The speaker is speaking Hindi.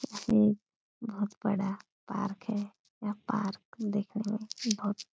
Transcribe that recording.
ये बहुत बड़ा पार्क है और यह पार्क दिखने में बहुत --